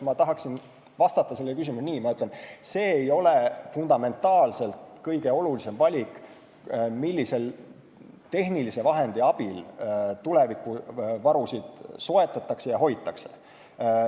Ma tahaksin vastata sellele küsimusele nii: see ei ole fundamentaalselt kõige olulisem valik, millise tehnilise vahendi abil tulevikuvarusid soetatakse ja hoitakse.